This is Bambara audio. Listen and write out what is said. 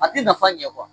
A ti nafa ɲɛ